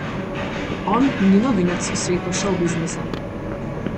On ni novinec v svetu šovbiznisa.